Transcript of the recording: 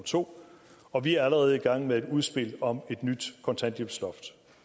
to og vi er allerede i gang med et udspil om et nyt kontanthjælpsloft